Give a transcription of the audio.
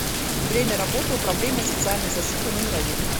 время работы управление социальной защиты номер один